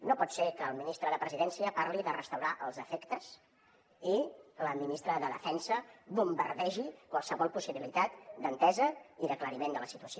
no pot ser que el ministre de la presidència parli de restaurar els efectes i que la ministra de defensa bombardegi qualsevol possibilitat d’entesa i d’aclariment de la situació